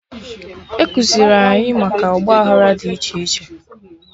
Ekuziri anyị maka Ọgba aghara dị iche iche